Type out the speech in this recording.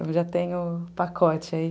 Então já tenho o pacote aí.